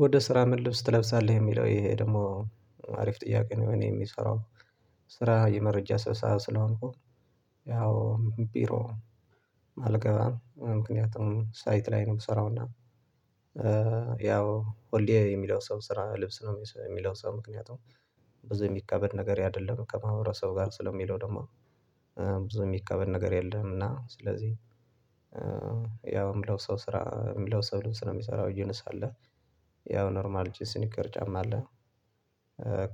ወደ ስራ ምን ልብስ ትለብሳለህ የሚለው ይሄ ደግሞ አሪፍ ጥያቄ ነው? እኔ የሚሰራው ስራ የመረጃ ስብሰባ ስለሆንኩ። ያው ቢሮ አልገባም ምክንያቱም ሳይት ላይ ነው የምሰራው እና። ያው ሆሎ የሚለብሰው ስራ ልብስ ነው የሚለብሰው ምክንያቱም ብዙ የሚከበድ ነገር አይደለም። ከማህበረሰቡ ጋር ስለሚለው ደግሞ ብዙ የሚከበድ ነገር የለም። እና ስለዚህ ያው የምለው ሰው ስራ የምለው ሰው ልብስ ነው የሚሰራው ጅንስ አለ። ያው ኖርማል ጅንስን ይቅር ጫማ አለ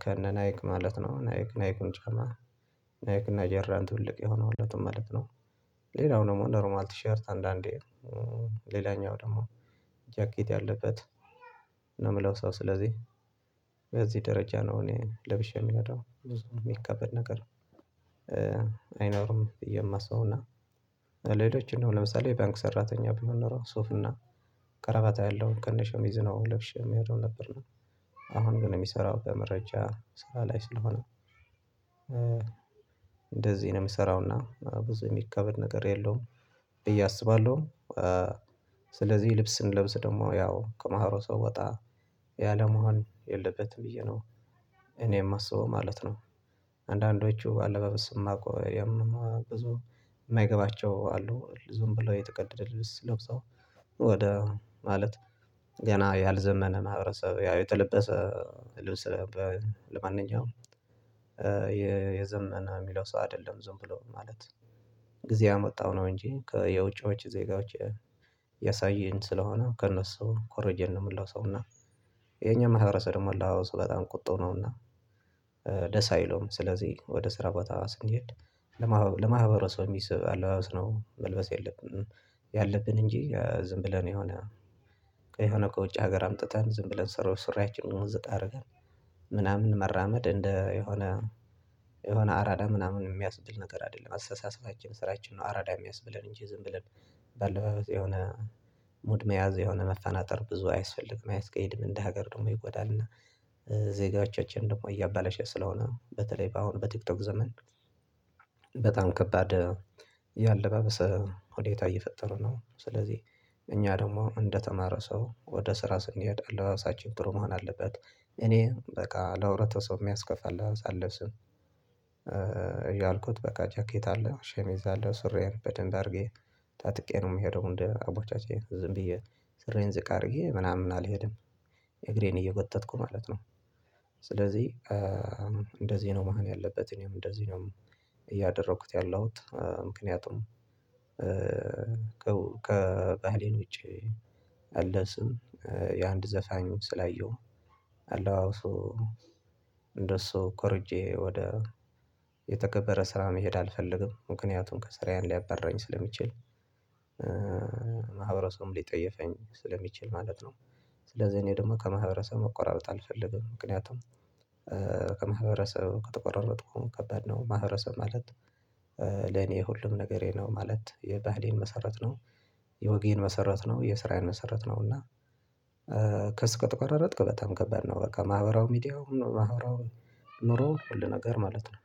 ከነ ናይክ ማለት ነው። ናይክ ናይኩን ጫማ ናይክ ጆርዳን ትልቅ የሆነለትን ማለት ነው። ሌላው ደግሞ ኖሮማል ቲሸርት አንዳንዴ ሌላኛው ደግሞ ጃኬት ያለበት ነው። ምለብሰው ስለዚህ በዚህ ደረጃ ነው እኔ ለብሼ የምሄደው ብዙ ማካበድ ነገር አይኖርም። ብየ ማስበው እና ሌሎች እንደው ለምሳሌ ባንክ ሰራተኛ ቢሆን ኖሮ ሱፍና ቀረባታ ያለው ከነ ሸሚዙ ነው ልብሸ የምሄደው ነበርና። አሁን ግን የሚሰራው በመረጃ ስራ ላይ ስለሆነ እንደዚህ ነው የምሰራውና ብዙ የሚካበድ ነገር የለውም ብየ አስባለሁ። ስለዚህ ልብስ ስንለብስ ደግሞ ያው ከመሃሮ ሰው ወጣ ያለመሆን የለበትም ብዬ ነው እኔ የማስበው ማለት ነው። አንዳንዶቹ አለባበስ የማውቀው ብዙ የማይገባቸው አሉ ዝንብለው የተቀደደ ልብስ ለብሰው ወደ ማለት ገና ያልዘመነ ማህበረሰብ ያው የተለበሰ ልብስ ለማንኛውም የ የዘመነ የሚለው ሰው አይደለም ዝም ብለው ማለት ጊዜ ያመጣው ነው። እንጂ የውጪዎች ዜጋዎች ያሳየን ስለሆነ ከእነሱ ኮረጅን ነው ምንለብሰው እና የኛ ማህበረሰብ ደሞ አለባበሱ በጣም ቁጡ ነውና። ደስ አይለውም ስለዚህ ወደ ስራ ቦታ ስንሄድ ለማህበረሰብ የሚስብ አለባበስ ነው መልበስ ያለብን። ያለብን እንጂ ዝም ብለን የሆነ የሆነ ከውጭ ሀገር አምጥተን ዝም ብለን ሰራው ስራያችንን ዝቅ አርገን ምናምን መራመድ እንደ የሆነ የሆነ አራዳ ምናምን የሚያስብል ነገር አይደለም አስተሳሰባችን ስራችን ነው። አራዳ የሚያስብለን እንጂ ዝም ብለን በአለባበስ የሆነ ሙድ መያዝ የሆነ መፈናጠር ብዙ አያስፈልግም አያስቀይድም እንደ ሀገር ደግሞ ይጎዳል። እና ዜጋዎቻችን ደግሞ እያባለሸ ስለሆነ በተለይ በአሁን በቲክቶክ ዘመን በጣም ከባድ የአለባበሰ ሁኔታ እየፈጠረ ነው። ስለዚህ እኛ ደግሞ እንደተማረ ሰው ወደ ስራ ስንሄድ አለባበሳችን ጥሩ መሆን አለበት። እኔ በቃ ለህብረተሰብ የሚያስከፋ አለባበስ አለብስም ያልኩት በቃ ጃኬት አለ ሸሚዝ አለ ሱራዬን በደንብ አድርጌ ታጥቄ ነው የምሄደው እንደ አባቻቼ ዝም ብዬ ስራዬን ዝቅ አድርጌ ምናምን አልሄድም እግሬን እየጎተትኩ ማለት ነው። ስለዚህ እንደዚህ ነው መሆን ያለበት እኔም እንደዚህ ነው። እያደረኩት ያለሁት ምክንያቱም ከባህሌን ውጪ አለ ስም የአንድ ዘፋኙ ስላየሁ አለባበሱ እንደሱ ኮርጄ ወደ የተከበረ ስራ መሄድ አልፈልግም ምክንያቱም ከስራዬን ሊያበርረኝ ስለሚችል ማህበረሰቡም ሊጠየፈኝ ስለሚችል ማለት ነው። ስለዚህ እኔ ደግሞ ከማህበረሰቡ መቆራረጥ አልፈልግም ምክንያቱም ከማህበረሰብ ከተቆረረጥኩም ከባድ ነው ማህበረሰብ ማለት ለኔ ሁሉም ነገሬ ነው ማለት የባህሌን መሰረት ነው። የወጌን መሰረት ነው የስራዬን መሰረት ነው። እና ከ ራሪጥክ በጣም ከባድ ነው በቃ ማህበራዊ ሚዲያው ማህበራው ኑሮው ሁሉ ነገር ማለት ነው